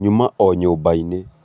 nyuma o nyũmbainĩ